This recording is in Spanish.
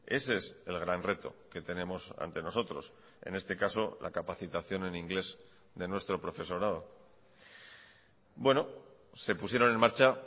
ese es el gran reto que tenemos ante nosotros en este caso la capacitación en inglés de nuestro profesorado se pusieron en marcha